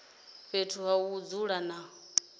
fhethu ha u dzula na